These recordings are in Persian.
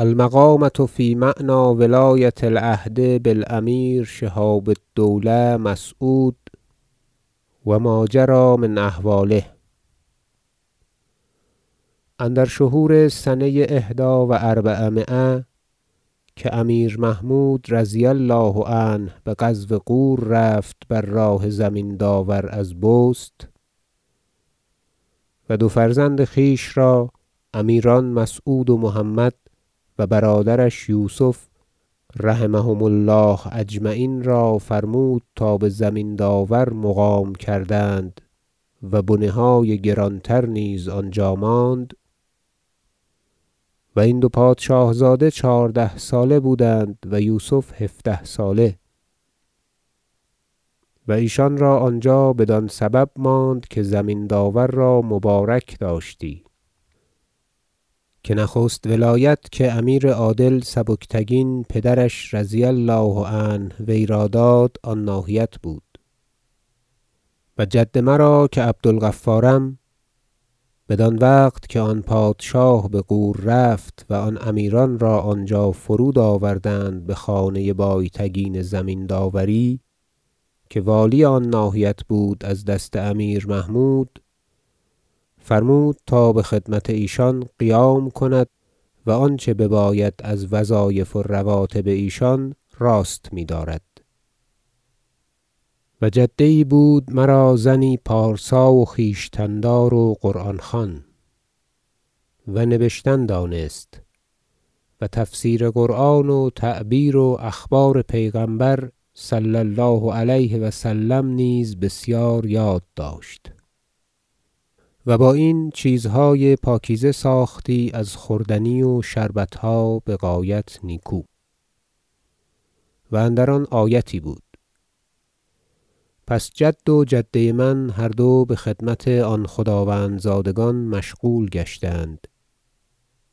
المقامة في معنی ولایة العهد بالأمیر شهاب الدوله مسعود و ما جری من أحواله اندر شهور سنه احدی و اربعمایه که امیر محمود -رضي الله عنه- به غزو غور رفت بر راه زمین داور از بست و دو فرزند خویش را امیران مسعود و محمد و برادرش یوسف -رحمهم الله أجمعین - را فرمود تا به زمین داور مقام کردند و بنه های گران تر نیز آنجا ماند و این دو پادشاه زاده چهارده ساله بودند و یوسف هفده ساله و ایشان را آنجا بدان سبب ماند که زمین داور را مبارک داشتی که نخست ولایت که امیر عادل سبکتگین پدرش -رضی الله عنه- وی را داد آن ناحیت بود و جد مرا که عبدالغفارم- بدان وقت که آن پادشاه به غور رفت و آن امیران را آنجا فرود آوردند به خانه بایتگین زمین داوری که والی آن ناحیت بود از دست امیر محمود- فرمود تا به خدمت ایشان قیام کند و آنچه بباید از وظایف و رواتب ایشان راست میدارد و جده یی بود مرا زنی پارسا و خویشتن دار و قرآن خوان و نبشتن دانست و تفسیر قرآن و تعبیر و اخبار پیغمبر -صلی الله علیه و سلم - نیز بسیار یاد داشت و با این چیزهای پاکیزه ساختی از خوردنی و شربتها بغایت نیکو و اندر آن آیتی بود پس جد و جده من هر دو به خدمت آن خداوند زادگان مشغول گشتند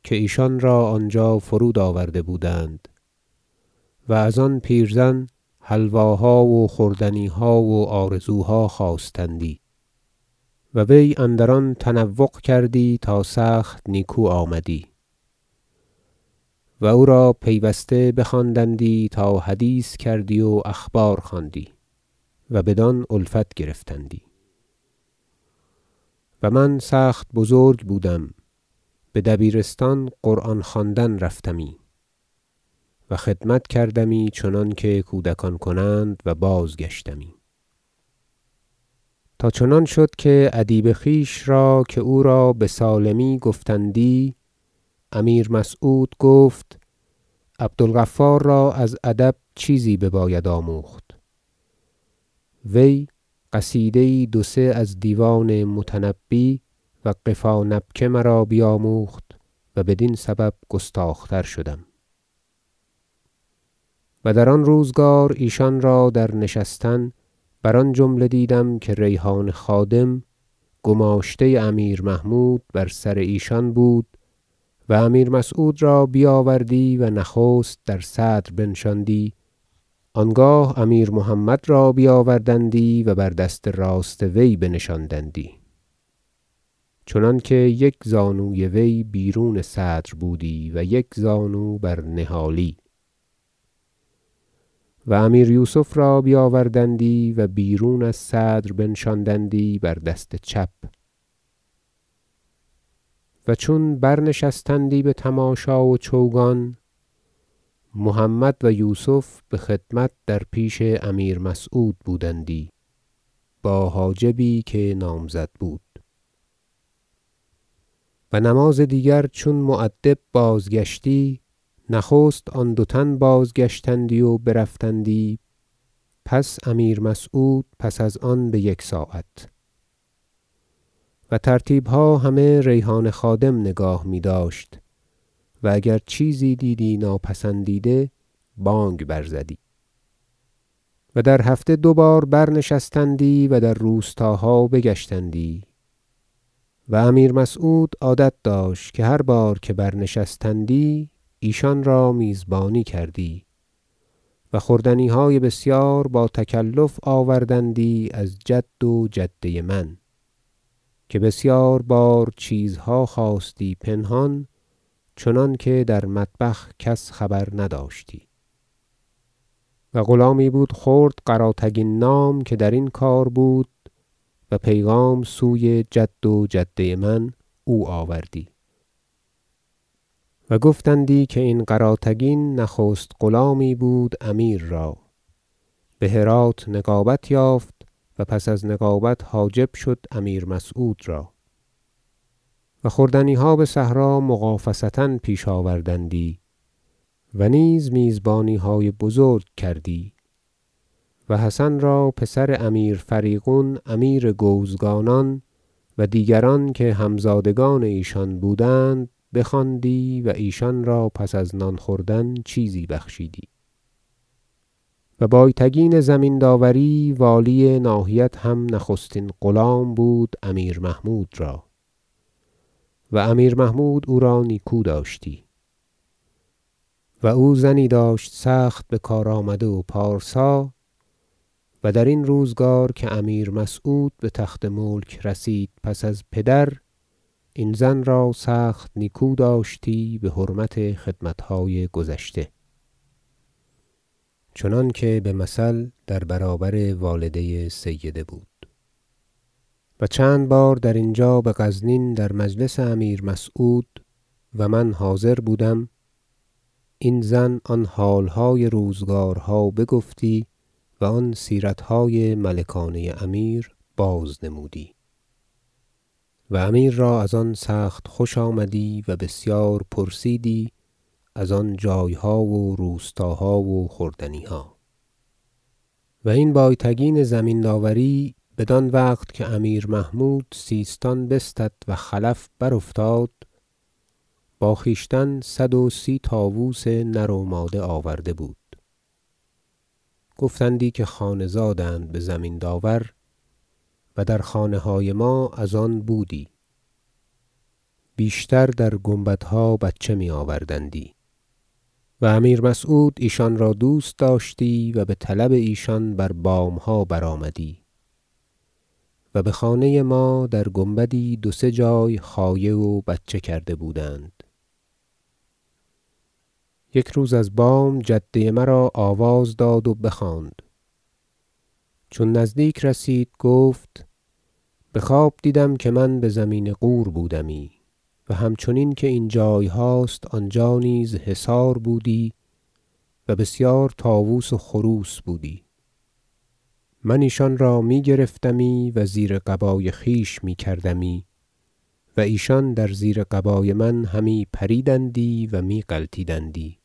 که ایشان را آنجا فرود آورده بودند و ازان پیرزن حلواها و خوردنیها و آرزوها خواستندی و وی اندر آن تنوق کردی تا سخت نیکو آمدی و او را پیوسته بخواندندی تا حدیث کردی و اخبار خواندی و بدان الفت گرفتندی و من سخت بزرگ بودم به دبیرستان قرآن خواندن رفتمی و خدمتی کردمی چنانکه کودکان کنند و بازگشتمی تا چنان شد که ادیب خویش را که او را بسالمی گفتندی امیر مسعود گفت عبدالغفار را از ادب چیزی بباید آموخت وی قصیده یی دو سه از دیوان متنبی و قفا نبک مرا بیاموخت و بدین سبب گستاخ تر شدم و در آن روزگار ایشان را در نشستن بر آن جمله دیدم که ریحان خادم گماشته امیر محمود بر سر ایشان بود و امیر مسعود را بیاوردی و نخست در صدر بنشاندی آنگاه امیر محمد را بیاوردندی و بر دست راست وی بنشاندندی چنانکه یک زانوی وی بیرون صدر بودی و یک زانو بر نهالی و امیر یوسف را بیاوردندی و بیرون از صدر بنشاندندی بر دست چپ و چون برنشستندی به تماشا و چوگان محمد و یوسف به خدمت در پیش امیر مسعود بودندی با حاجبی که نامزد بود و نماز دیگر چون مؤدب بازگشتی نخست آن دو تن بازگشتندی و برفتندی پس امیر مسعود پس از آن به یکساعت و ترتیبها همه ریحان خادم نگاه میداشت و اگر چیزی دیدی ناپسندیده بانگ برزدی و در هفته دو بار برنشستندی و در روستاها بگشتندی و امیر مسعود عادت داشت که هر بار که برنشستی ایشان را میزبانی کردی و خوردنیهای بسیار باتکلف آوردندی از جد و جده من که بسیار بار چیزها خواستی پنهان چنانکه در مطبخ کس خبر نداشتی و غلامی بود خرد قراتگین نام که درین کار بود و پیغام سوی جد و جده من او آوردی- و گفتندی که این قراتگین نخست غلامی بود امیر را به هرات نقابت یافت و پس از نقابت حاجب شد امیر مسعود را و خوردنیها به صحرا مغافصه پیش آوردندی و نیز میزبانیهای بزرگ کردی و حسن را پسر امیر فریغون امیر گوزگانان و دیگران که همزادگان ایشان بودند بخواندی و ایشان را پس از نان خوردن چیزی بخشیدی و بایتگین زمین داوری والی ناحیت هم نخستین غلام بود امیر محمود را و امیر محمود او را نیکو داشتی و او زنی داشت سخت بکارآمده و پارسا و درین روزگار که امیر مسعود به تخت ملک رسید پس از پدر این زن را سخت نیکو داشتی به حرمت خدمتهای گذشته چنانکه به مثل در برابر والده سیده بود و چند بار در اینجا به غزنین در مجلس امیر مسعود- و من حاضر بودم- این زن آن حالهای روزگارها بگفتی و آن سیرتهای ملکانه امیر بازنمودی و امیر را از آن سخت خوش آمدی و بسیار پرسیدی از آن جایها و روستاها و خوردنیها و این بایتگین زمین داوری بدان وقت که امیر محمود سیستان بستد و خلف برافتاد با خویشتن صدوسی طاوس نر و ماده آورده بود گفتندی که خانه زادند به زمین داور و در خانه های ما از آن بودی بیشتر در گنبدها بچه میآوردندی و امیر مسعود ایشان را دوست داشتی و به طلب ایشان بر بامها آمدی و به خانه ما در گنبدی دو سه جای خایه و بچه کرده بودند یک روز از بام جده مرا آواز داد و بخواند چون نزدیک رسید گفت به خواب دیدم که من به زمین غور بودمی و همچنین که این جایهاست آنجا نیز حصار بودی و بسیار طاوس و خروس بودی من ایشان را می گرفتمی و زیر قبای خویش می کردمی و ایشان در زیر قبای من همی پریدندی و می غلطیدندی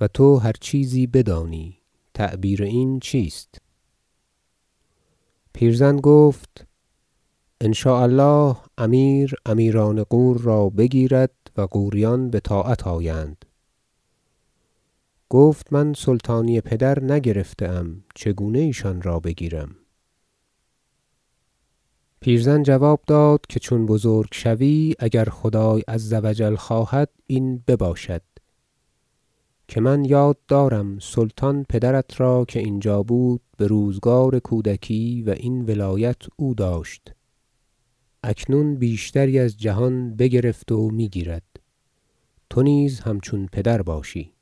و تو هر چیزی بدانی تعبیر این چیست پیرزن گفت إن شاء الله امیر امیران غور را بگیرد و غوریان به طاعت آیند گفت من سلطانی پدر نگرفته ام چگونه ایشان را بگیرم پیرزن جواب داد که چون بزرگ شوی اگر خدای عز و جل خواهد این بباشد که من یاد دارم سلطان پدرت را که اینجا بود به روزگار کودکی و این ولایت او داشت اکنون بیشتری از جهان بگرفت و میگیرد تو نیز همچون پدر باشی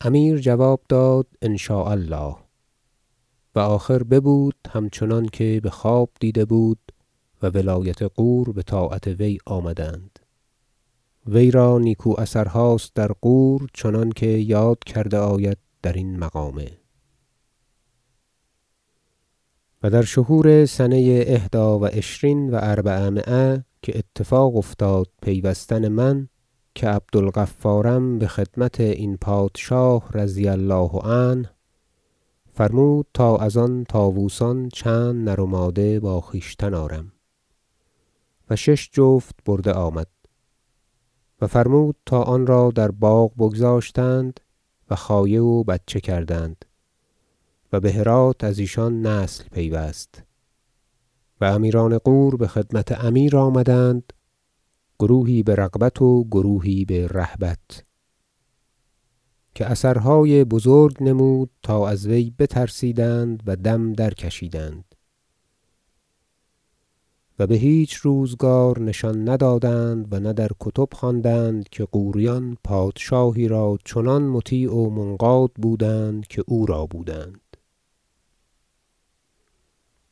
امیر جواب داد إن شاء الله و آخر ببود همچنان که به خواب دیده بود و ولایت غور به طاعت وی آمدند وی را نیکو اثرهاست در غور چنانکه یاد کرده آید درین مقامه و در شهور سنه احدی و عشرین و أربعمایه که اتفاق افتاد پیوستن من که عبدالغفارم به خدمت این پادشاه -رضي الله عنه- فرمود تا از آن طاوسان چند نر و ماده با خویشتن آرم و شش جفت برده آمد و فرمود تا آن را در باغ بگذاشتند و خایه و بچه کردند و به هرات از ایشان نسل پیوست و امیران غور به خدمت امیر آمدند گروهی به رغبت و گروهی به رهبت که اثرهای بزرگ نمود تا از وی بترسیدند و دم درکشیدند و به هیچ روزگار نشان ندادند و نه در کتب خواندند که غوریان پادشاهی را چنان مطیع و منقاد بودند که او را بودند